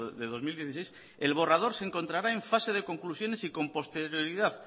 de dos mil dieciséis el borrador se encontrará en fase de conclusiones y con posterioridad